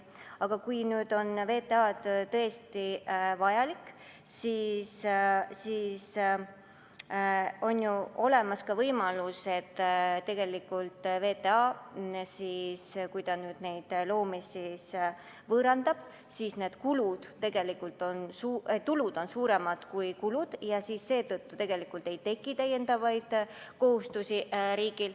Aga kui VTA on tõesti vajalik, siis on ju olemas ka võimalused, et VTA‑l, kui ta loomi võõrandab, on tulud suuremad kui kulud ja seetõttu ei teki riigil täiendavaid kohustusi.